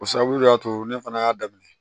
O sababu le y'a to ne fana y'a daminɛ